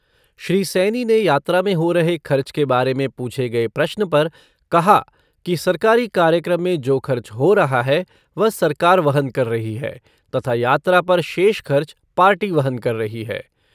श्री सैनी ने यात्रा में हो रहे खर्च के बारे में पूछे गए प्रश्न पर कहा कि सरकारी कार्यक्रम में जो खर्च हो रहा है वह सरकार वहन कर रही है तथा यात्रा पर शेष खर्च पार्टी वहन कर रही है।